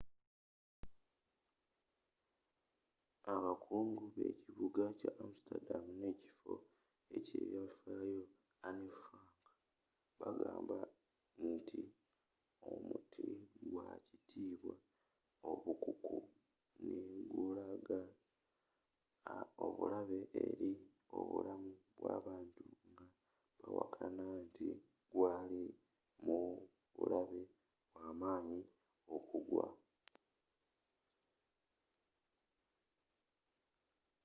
abakungu b'ekibuga kya amsterdam ne ekifo eky'ebyafaayo anne frank bagamba nti omuti gwa kwatibwa obukuku ne gulaga obulabe eri obulamu bw'abantu nga bawakana nti gwaali mubulabe bwaamanyi okugwa